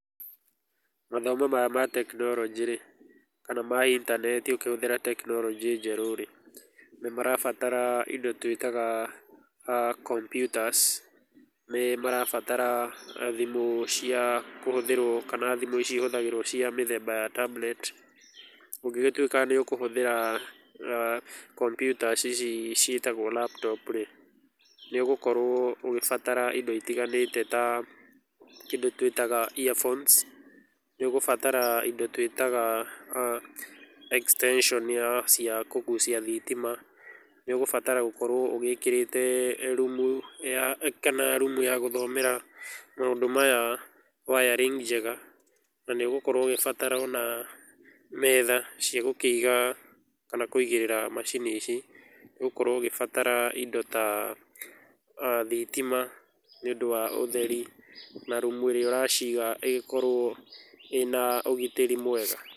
Mathomo maya ma tekinoronjĩ rĩ kana ma intaneti ũkĩhũthĩra tekinoronjĩ njerũ rĩ, nĩ marabatar indo twĩtaga computers, nĩ marabatara thimũ cia kũhũthĩrũo kana thimũ ici ihũthagĩrũo cia mĩthemba ya tablet. Ũngĩgĩtuĩka nĩ ũkũhũthĩra komputa ici ciĩtagwo laptop rĩ, nĩ ũgũkorũo ũgĩbatara indo itiganĩte ta kĩndũ twĩtaga ear phones, nĩ ũgũbatar indo twĩtaga extension cia kũgucia thitima, nĩ ũgũbatara gũkorũo ũgĩkĩrĩte rumu ya kana rumu ya gũthomera maũndũ maya wiring njega , na nĩ ũgũkorũo ũgĩbatara ona metha cia gũkĩiga kana kũigĩrĩra macini ici. Nĩ ũgũkorũo ũgĩbatara indo ta thitima nĩ ũndũ wa ũtheri na rumu ĩrĩa ũraciga ĩkorũo ĩna ũgitĩri mwega.